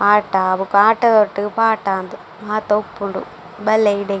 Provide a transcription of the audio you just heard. ಆಟ ಬೊಕ ಆತ ದೊಟ್ಟುಗ್ ಪಾಟ ಅಂದ್ ಮಾತ ಉಪ್ಪುಂಡು ಬಲ್ಲೆ ಇಡೆ --